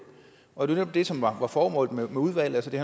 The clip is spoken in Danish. og det var netop det som var formålet med udvalget det